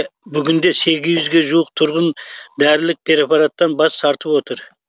бүгінде сегіз жүге жуық тұрғын дәрілік препараттан бас тартып отыр